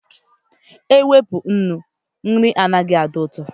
Ewepụ nnu, nri agaghị adị ụtọ